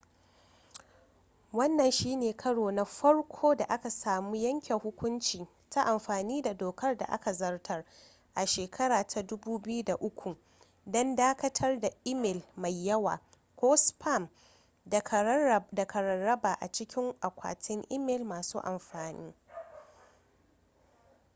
wannan shi ne karo na farko da aka samu yanke hukunci ta amfani da dokar da aka zartar a 2003 don dakatar da imel mai yawa ko spam daga rarraba ba a cikin akwatin imel masu amfani